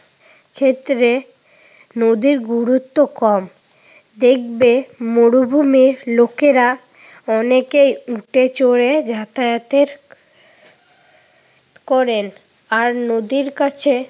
ক্ষেত্রে নদীর গুরুত্ব কম। দেখবে মরুভূমির লোকেরা অনেকে উটে চড়ে যাতায়াতের করেন। আর নদীর কছে